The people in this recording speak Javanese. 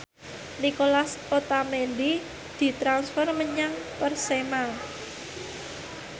Nicolas Otamendi ditransfer menyang Persema